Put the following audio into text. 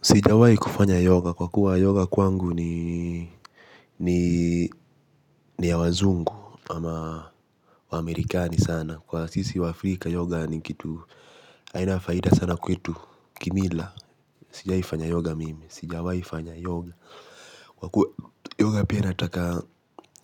Sijawahi kufanya yoga kwakua yoga kwangu ni ya wazungu ama amerikani sana kwa sisi wa Africa yoga ni kitu haina faida sana kwetu kimila. Sijawai fanya yoga mimi, sijawai fanya yoga. Kwa kuwa yoga pia inataka